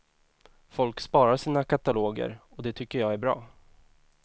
Folk sparar sina kataloger, och det tycker jag är bra.